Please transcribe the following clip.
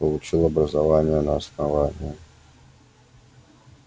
получил образование на основании